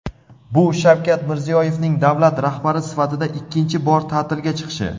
bu Shavkat Mirziyoyevning davlat rahbari sifatida ikkinchi bor ta’tilga chiqishi.